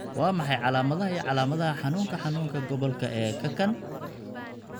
Waa maxay calaamadaha iyo calaamadaha xanuunka xanuunka gobolka ee kakan?